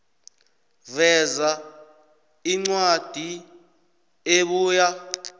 veza incwadi ebuya